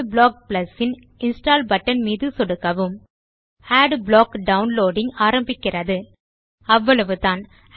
adblock Plusன் install button மீது சொடுக்கவும் அட்பிளாக் டவுன்லோடிங் ஆரம்பிக்கிறது அவ்வளவுதான்